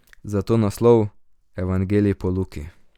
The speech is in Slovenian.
Zato naslov: "Evangelij po Luki.